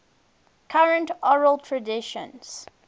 current oral traditions